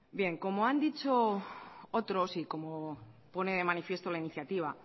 bien como han dicho otros y como pone de manifiesto la iniciativa